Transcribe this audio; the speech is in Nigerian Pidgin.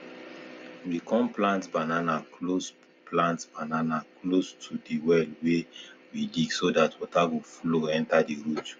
we com plant banana close plant banana close to de well wen we dig so dat water go flow enter de roots